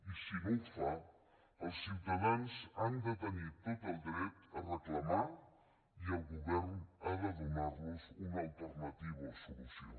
i si no ho fa els ciutadans han de tenir tot el dret a reclamar i el govern ha de donar los una alternativa o solució